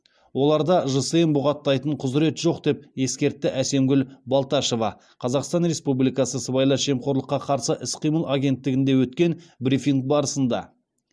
оларда жсн бұғаттайтын құзыреті жоқ деп ескертті әсемгүл балташева қазақстан республикасы сыбайлас жемқорлыққа қарсы іс қимыл агенттігінде өткен брифинг барысында